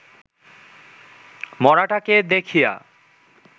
মড়াটাকে দেখিয়া